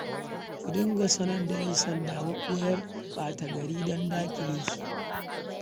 Ku dinga sanar da 'yansanda maɓoyar ɓata-gari don daƙile su